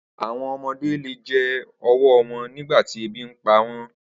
Awọn ọmọde le jẹ ọwọ wọn nigbati ebi npa